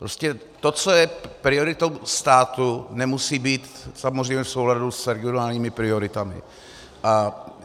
Prostě to, co je prioritou státu, nemusí být samozřejmě v souladu s regionálními prioritami.